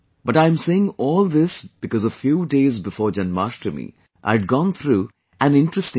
But I am saying all this because a few days before Jamashtami I had gone through an interesting experience